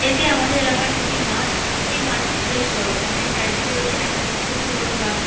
এটি আমাদের এলাকার একটি মাঠ এই মাঠটি বেশ বড় মাঠের চারদিকে রয়েছে একাধিক ছোট বড় বাড়ি।